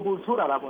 ့ ပိုဆိုးလာတာပေါ